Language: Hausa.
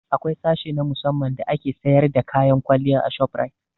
Akwai sashe na musamman da ake sayar da kayan kwalliya a shoprite